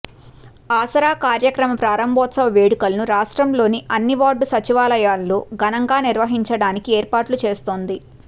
ఆసరా కార్యక్రమ ప్రారంభోత్సవ వేడుకలను రాష్ట్రంలోని అన్ని వార్డు సచివాలయాల్లో ఘనంగా నిర్వహించడానికి ఏర్పాట్లు చేస్తోంది